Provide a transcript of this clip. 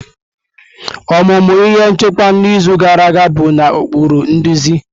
Ọmụmụ ihe nchịkwa n'izu gara aga bụ na ụkpụrụ nduzi.